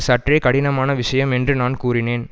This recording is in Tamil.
சற்றே கடினமான விஷயம் என்று நான் கூறினேன்